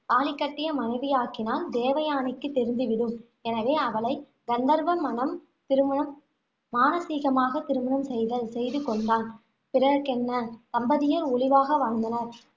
தாலி கட்டிய மனைவியாக்கினால், தேவயானைக்குத் தெரிந்து விடும். எனவே, அவளை கந்தர்வ மணம் திருமணம் மானசீகமாக திருமணம் செய்தல் செய்து கொண்டான். பிறகென்ன தம்பதியர் ஒளிவாக வாழ்ந்தனர்.